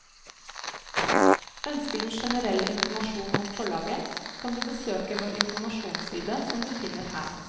Ønsker du generell informasjon om forlaget, kan du besøke vår informasjonsside som du finner her.